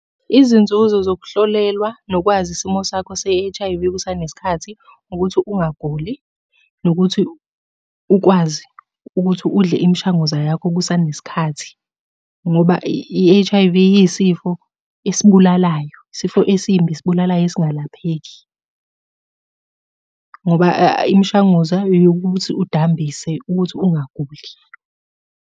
Izinzuzo zokuhlolelwa nokwazi isimo sakho se-H_I_V kusanesikhathi, ukuthi ungaguli, nokuthi ukwazi ukuthi udle imishanguza yakho kusanesikhathi, ngoba i-H_I_V iyisifo esibulalayo. Isifo esimbi esibulalayo esingalapheki, ngoba imishanguza eyokuthi udambise ukuthi ungaguli.